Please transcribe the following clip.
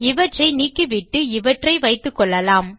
இவற்றை நீக்கிவிட்டு இவற்றை வைத்துக்கொள்ளலாம்